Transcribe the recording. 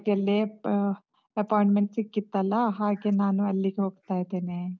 ಅಲ್ಲೇ ಆಹ್ appointment ಸಿಕ್ಕಿತಲ್ಲ. ಹಾಗೆ ನಾನು ಅಲ್ಲಿಗೆ ಹೋಗ್ತಾ ಇದ್ದೆನೆೇ.